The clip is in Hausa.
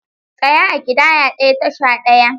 Tsaya a ƙidaya ɗaya, tasha ɗaya!